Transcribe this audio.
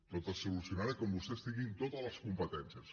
tot es solucionarà quan vostès tinguin totes les competències